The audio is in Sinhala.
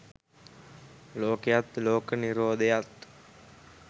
ලෝකයත් ලෝක නිරෝධයත්